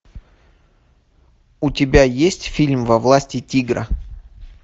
у тебя есть фильм во власти тигра